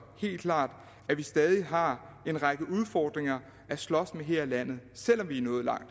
helt klart at vi stadig har en række udfordringer at slås med her i landet selv om vi er nået langt